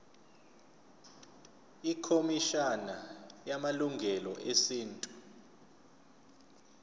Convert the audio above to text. ikhomishana yamalungelo esintu